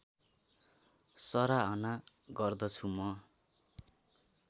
सराहना गर्दछु म